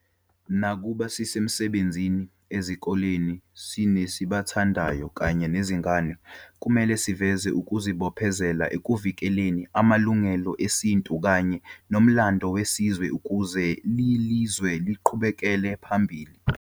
Nakuba sisemsbenzini, ezikoleni, sinesibathandayo kanye nezingane, kumele siveze ukuzibophezela eukvilekeleni amulungelo esintu kanye nomlando wesizwe, ukuze lelizwe liqhubekela phambili.